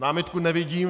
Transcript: Námitku nevidím.